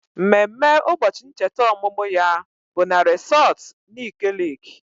Mmemme ụbọchị ncheta ọmụmụ ya bụ na resọtu Nike Leeki